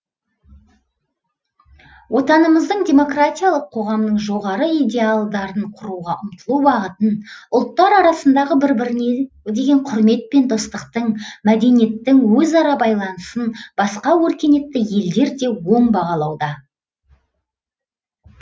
отанымыздың демократиялық қоғамның жоғары идеалдарын құруға ұмтылу бағытын ұлттар арасындағы бір біріне деген құрмет пен достықтың мәдениеттің өз ара байланысын басқа өркениетті елдер де оң бағалауда